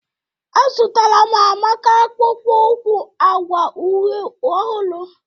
Azụtara m Amaka akpụkpọ ụkwụ agwa uhe ọhụrụ